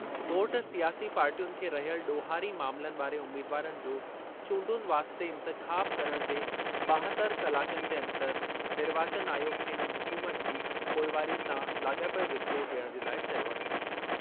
Court सियासी पार्टियुनि खे रहियल ॾोहारी मामलनि वारे उमीदवारनि जो चूंडुनि वास्ते इंतिख़ाब करणु जे ॿाहतर कलाकनि जे अंदरि निर्वाचन आयोग खे इन्हनि हुकुमनि जी पोइवारी सां लाॻापियल रिपोर्ट ॾियणु जे लाइ चयो आहे।